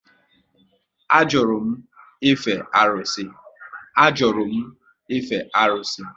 A jụrụ m ife arụsị